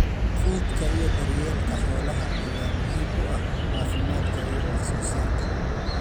quudka iyo daryeelka xoolaha ayaa muhiim u ah caafimaadka iyo wax soo saarka.